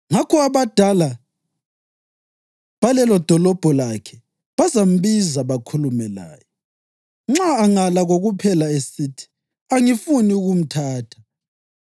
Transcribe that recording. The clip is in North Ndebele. Ngakho abadala balelodolobho lakhe bazambiza bakhulume laye. Nxa angala kokuphela esithi, ‘Angifuni ukumthatha,’